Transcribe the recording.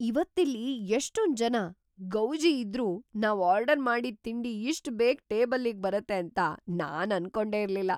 ಇವತ್ತಿಲ್ಲಿ ಎಷ್ಟೊಂದ್‌ ಜನ, ಗೌಜಿ ಇದ್ರೂ ನಾವ್‌ ಆರ್ಡರ್‌ ಮಾಡಿದ್ ತಿಂಡಿ ಇಷ್ಟ್‌ ಬೇಗ ಟೇಬಲ್ಲಿಗ್‌ ಬರತ್ತೆ ಅಂತ ನಾನ್‌ ಅನ್ಕೊಂಡೇ ಇರ್ಲಿಲ್ಲ.